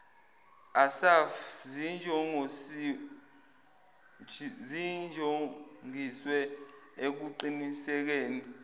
assaf zinjongiswe ekuqinisekeni